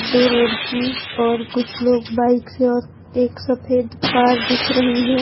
दो लड़की और कुछ लोग बाइक से और एक सफेद कार दिख रही है।